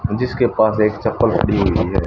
जिसके पास एक चप्पल हुई है।